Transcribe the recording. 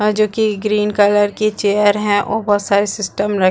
और जो कि ग्रीन कलर की चेयर हैओ सारे सिस्टम लगे--